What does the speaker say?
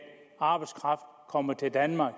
arbejdskraft kommer til danmark